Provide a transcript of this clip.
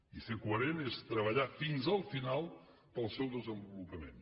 i ser coherent és treballar fins al final per al seu desenvolupament